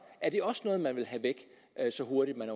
er det også noget man vil have væk så hurtigt man